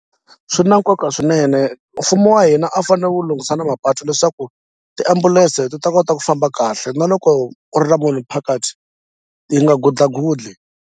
Swi na nkoka swinene mfumo wa hina a fanele wu lunghisa na mapatu leswaku tiambulense ti ta kota ku famba kahle na loko ku ri na munhu phakathi ti nga gudlagudli.